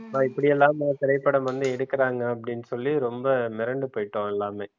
இப்படி எல்லாம்மா திரைப்படம் வந்து எடுக்குறாங்க அப்படின்னு சொல்லி ரொம்ப மிரண்டு போய்ட்டோம் எல்லாமே